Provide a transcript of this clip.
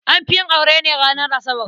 An fi yin aure ne ranar Asabar.